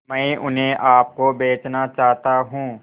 मैं उन्हें आप को बेचना चाहता हूं